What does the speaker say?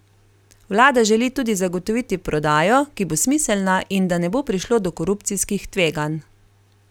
Vlada želi tudi zagotoviti prodajo, ki bo smiselna in da ne bo prišlo do korupcijskih tveganj.